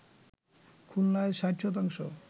খুলনায় ৬০ শতাংশ